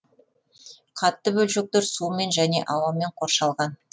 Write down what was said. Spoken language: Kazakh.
қатты бөлшектер сумен және ауамен қоршалған